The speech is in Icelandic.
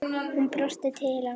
Hún brosti til hans.